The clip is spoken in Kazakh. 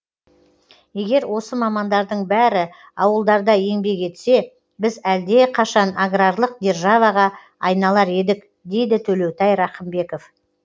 егер осы мамандардың бәрі ауылдарда еңбек етсе біз әлдеқайшан аграрлық державаға айналар едік дейді төлеутай рақымбеков